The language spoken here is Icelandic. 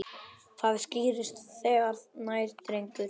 Það skýrist þegar nær dregur.